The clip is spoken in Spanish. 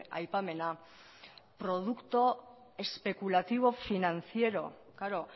aipamena producto especulativo financiero claro